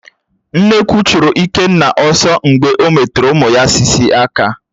Nnekwu churu Ikenna ọ̀sọ̀ mgbe ọ metụrụ ụmụ sị́sị̀ aka